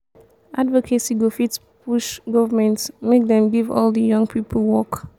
advocacy go fit push government make dem give all de young pipo work.